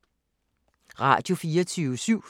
Radio24syv